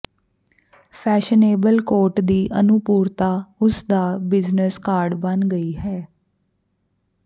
fashionable coat ਦੀ ਅਨੁਰੂਪਤਾ ਉਸ ਦਾ ਬਿਜ਼ਨਸ ਕਾਰਡ ਬਣ ਗਈ ਹੈ